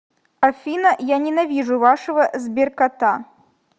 афина я ненавижу вашего сберкота